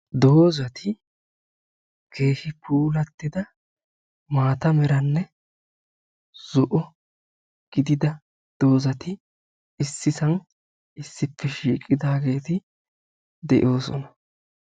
doozati keehi puulattida maata meranne zo'o gidida doozati issisan issippe shiiqidageeti de'oosona.